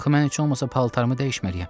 Axı mən heç olmasa paltarımı dəyişməliyəm.